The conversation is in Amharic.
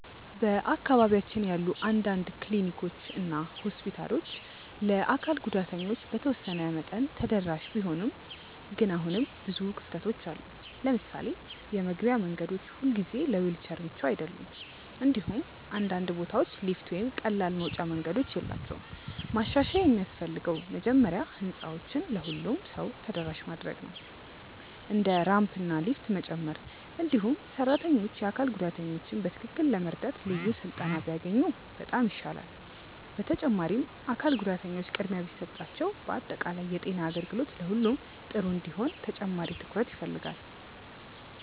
በአካባቢያችን ያሉ አንዳንድ ክሊኒኮች እና ሆስፒታሎች ለአካል ጉዳተኞች በተወሰነ መጠን ተደራሽ ቢሆኑም ግን አሁንም ብዙ ክፍተቶች አሉ። ለምሳሌ የመግቢያ መንገዶች ሁልጊዜ ለዊልቸር ምቹ አይደሉም፣ እንዲሁም አንዳንድ ቦታዎች ሊፍት ወይም ቀላል መውጫ መንገዶች የላቸውም። ማሻሻያ የሚያስፈልገው መጀመሪያ ህንፃዎችን ለሁሉም ሰው ተደራሽ ማድረግ ነው፣ እንደ ራምፕ እና ሊፍት መጨመር። እንዲሁም ሰራተኞች አካል ጉዳተኞችን በትክክል ለመርዳት ልዩ ስልጠና ቢያገኙ በጣም ይሻላል። በተጨማሪም አካል ጉዳተኞች ቅድሚያ ቢሰጣቸው በአጠቃላይ የጤና አገልግሎት ለሁሉም ጥሩ እንዲሆን ተጨማሪ ትኩረት ያስፈልጋል።